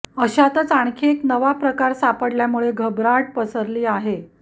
अशातच आणखी एक नवा प्रकार सापडल्यामुळे घबराट पसरली आहे